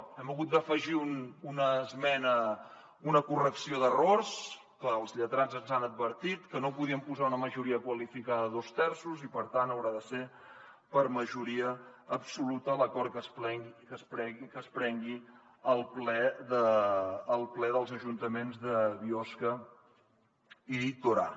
hi hem hagut d’afegir una esmena una correcció d’errors perquè els lletrats ens han advertit que no hi podíem posar una majoria qualificada de dos terços i per tant haurà de ser per majoria absoluta l’acord que es prengui al ple dels ajuntaments de biosca i torà